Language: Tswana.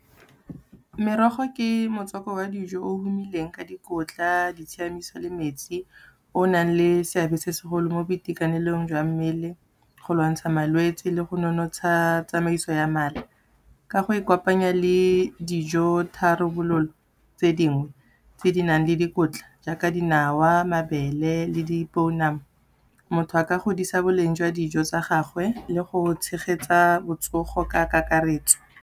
Merogo ke motswako wa dijo o humileng ka dikotla ditshiamiso le metsi, o nang le seabe se segolo mo boitekanelong jwa mmele, go lwantsha malwetsi le go nonotsha tsamaiso ya mala. Ka go e kopanya le dijo tharabololo tse dingwe tse di nang le dikotla jaaka dinawa, mabele le dipounama, motho a ka godisa boleng jwa dijo tsa gagwe le go tshegetsa botsogo ka kakaretso.